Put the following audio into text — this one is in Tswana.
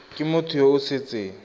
ke motho yo o setseng